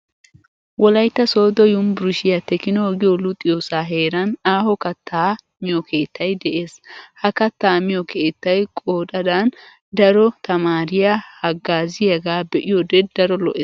Wolaytta sooddo yunvurushiyaa "teknoo' giyo luxiyoosaa heran aaho kattaa miyo keettay de'es. Ha kattaa miyo keettay qooxadan daro tamaariya haggaaziyagaa be'iyoode daro lo'ees.